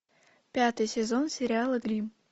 пятый сезон сериала гримм